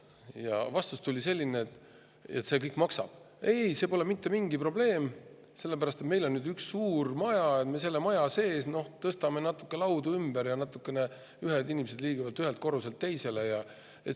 Ja vastus tuli selline: see kõik maksab, aga ei-ei, see pole mitte mingi probleem, sellepärast et meil on nüüd üks suur maja, me selle maja sees tõstame natuke laudu ümber ja inimesed liiguvad ühelt korruselt teisele.